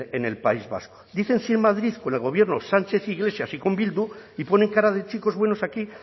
en el país vasco dicen sí en madrid con el gobierno sánchez iglesias y con bildu y ponen cara de chicos buenos aquí